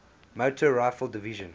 motor rifle division